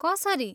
कसरी?